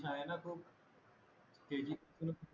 आहे ना खूप